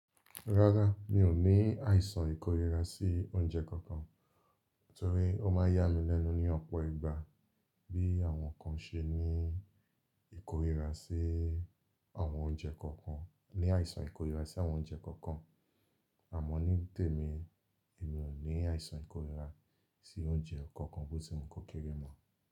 Rárá, mi ò ní àìsàn ìkórira sí oúnjẹ kankan torí ó ma yá mi lẹ́nu ní ọ̀pọ̀ ìgbà bí àwọn kan ṣe ní ìkórira sí àwọn oúnjẹ kankan. Ní àìsàn ìkórira sí àwọn oúnjẹ kankan. Àmọ́ ní tèmi, èmi ò ní àìsàn ìkórira sí oúnjẹ kankan bó tí wu kó kere mọ́